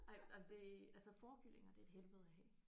Nej jamen det altså fårekyllinger det er et helvede at have